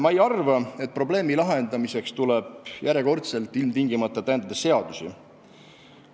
" Ma ei arva, et probleemi lahendamiseks tuleks järjekordselt ilmtingimata täiendada seadusi.